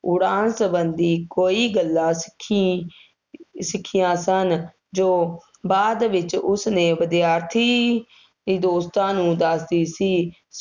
ਉਡਾਨ ਸੰਬੰਧੀ ਕੋਈ ਗੱਲਾਂ ਸਿੱਖੀ ਸਿੱਖਿਆਂ ਸਨ, ਜੋ ਬਾਅਦ ਵਿੱਚ ਉੁਸਨੇ ਵਿਦਿਆਰਥੀ ਦੋਸਤਾਂ ਨੂੰ ਦੱਸਦੀ ਸੀ।